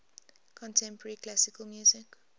contemporary classical music